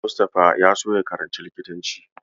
Almustapha ya so ya karanci likitanci.